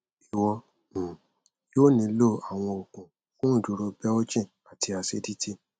iwọ um yoo nilo awọn oogun fun iduro belching ati acidity